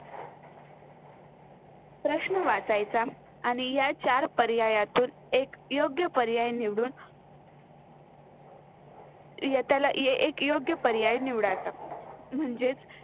प्रश्न वाचायचा आणि या चार पर्यायातून एक योग्य पर्याय निवडून योग्य पर्याय निवडायचा. म्हजेच